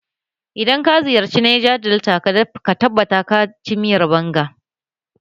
Idan ka ziyarci Neja delta ka tabbata ka ci miyar banga